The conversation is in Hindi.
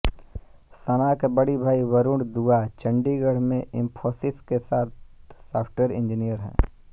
सना के बड़े भाई वरुण दुआ चंडीगढ़ में इंफोसिस के साथ सॉफ्टवेयर इंजीनियर हैं